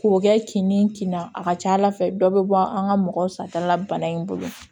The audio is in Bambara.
K'o kɛ kin ni kin na a ka ca ala fɛ dɔ bɛ bɔ an ka mɔgɔ sata la bana in bolo